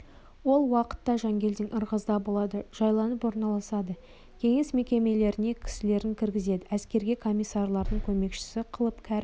ол уақытта жангелдин ырғызда болады жайланып орналасады кеңес мекемелеріне кісілерін кіргізеді әскерге комиссарлардың көмекшісі қылып кәрім